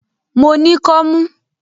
Mo ní kọ́mú.